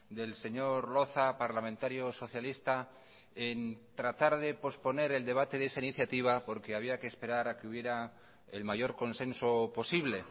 del señor loza parlamentario socialista en tratar de posponer el debate de esa iniciativa porque había que esperar a que hubiera el mayor consenso posible